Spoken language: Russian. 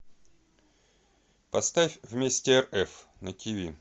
поставь вместе рф на тиви